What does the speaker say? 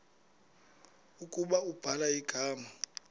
ukuba ubhala igama